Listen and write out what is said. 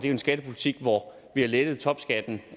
en skattepolitik hvor vi har lettet topskatten